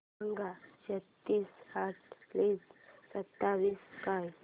सांगा तीनशे आठ प्लस सत्तावीस काय